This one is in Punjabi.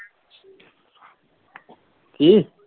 ਕੀ?